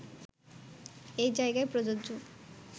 এই জায়গায় প্রযোজ্য